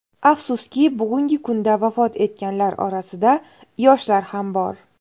Afsuski, bugungi kunda vafot etganlar orasida yoshlar ham bor.